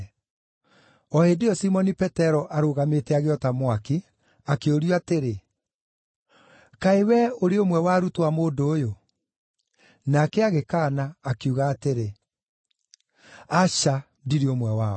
O hĩndĩ ĩyo Simoni Petero arũgamĩte agĩota mwaki, akĩũrio atĩrĩ, “Kaĩ wee ũrĩ ũmwe wa arutwo a mũndũ ũyũ?” Nake agĩkaana, akiuga atĩrĩ, “Aca, ndirĩ ũmwe wao!”